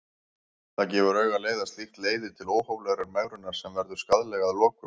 Það gefur augaleið að slíkt leiðir til óhóflegrar megrunar sem verður skaðleg að lokum.